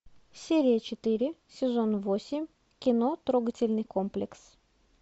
серия четыре сезон восемь кино трогательный комплекс